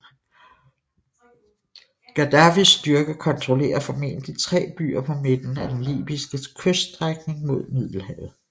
Gaddafis styrker kontrollerer formodentlig tre byer på midten af den libyske kyststrækning mod Middelhavet